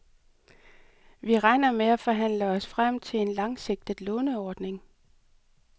Vi regner med at forhandle os frem til en langsigtet låneordning.